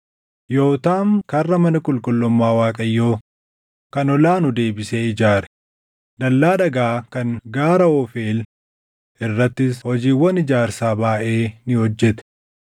Yootaam Karra mana qulqullummaa Waaqayyoo kan Ol aanu deebisee ijaare; dallaa dhagaa kan gaara Oofeel irrattis hojiiwwan ijaarsaa baayʼee ni hojjete.